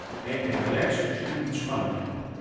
Enkrat več, drugič manj.